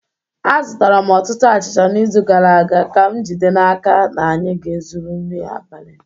Azụtara m ọtụtụ achịcha n’izu gara aga ka m jide n’aka na anyị ga-ezuru nri abalị.